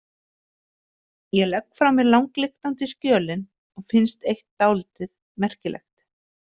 Ég legg frá mér langlyktandi skjölin og finnst eitt dálítið merkilegt.